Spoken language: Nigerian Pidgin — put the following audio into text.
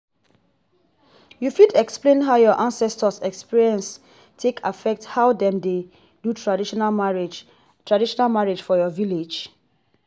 you fit explain how your ancestors experience take affect how them dey do traditional marriage traditional marriage for your village?